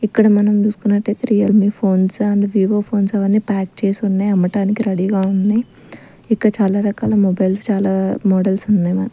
ఇక్కడ మనం చూసుకున్నట్టేతే Realme phones and Vivo phones అవన్నీ ప్యాక్ చేసి ఉన్నాయి అమ్మటానికి రెడీగా ఉన్నయ్ ఇంకా చాలా రకాల మొబైల్స్ చాలా మోడల్స్ ఉన్నాయ్ మన--